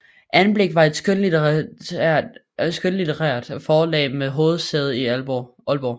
Anblik var et skønlitterært forlag med hovedsæde i Aalborg